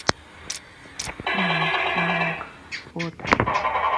мустанг фото